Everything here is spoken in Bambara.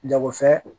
Jagofɛn